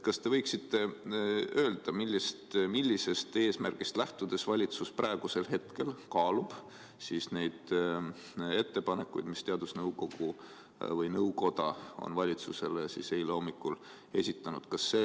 Kas te võiksite öelda, millisest eesmärgist lähtudes valitsus praegusel hetkel kaalub neid ettepanekuid, mis teadusnõukoda valitsusele eile hommikul esitas?